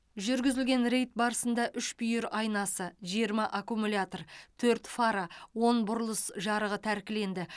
жүргізілген рейд барысында үш бүйір айнасы жиырма аккумулятор төрт фара он бұрылыс жарығы тәркіленді